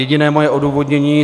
Jediné moje odůvodnění.